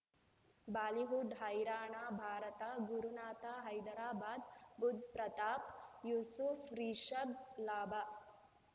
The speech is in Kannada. ಬಾಲಿವುಡ್ ಹೈರಾಣ ಭಾರತ ಗುರುನಾಥ ಹೈದರಾಬಾದ್ ಬುಧ್ ಪ್ರತಾಪ್ ಯೂಸುಫ್ ರಿಷಬ್ ಲಾಭ